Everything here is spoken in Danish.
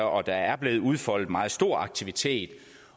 og der er blevet udfoldet meget stor aktivitet